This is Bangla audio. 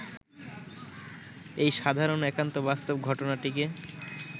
এই সাধারণ একান্ত বাস্তব ঘটনাটিকে